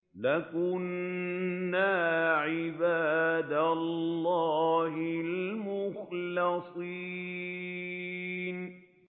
لَكُنَّا عِبَادَ اللَّهِ الْمُخْلَصِينَ